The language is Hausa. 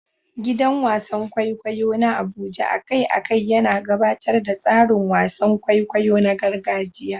Gidan wasan kwaikwayo na Abuja a kai a kai yana gabatar da tsarin wasan kwaikwayo na gargajiya.